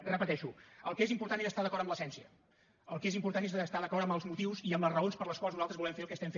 ho repeteixo el que és important és estar d’acord amb l’essència el que és important és estar d’acord amb els motius i amb les raons per les quals nosaltres volem fer el que fem